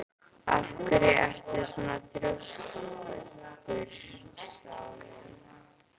Af hverju ertu svona þrjóskur, Salín?